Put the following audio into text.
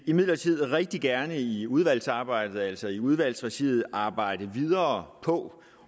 imidlertid rigtig gerne i udvalgsarbejdet altså i udvalgregi arbejde videre på